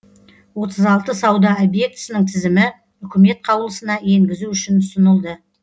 отыз алты сауда объектісінің тізімі үкімет қаулысына енгізу үшін ұсынылды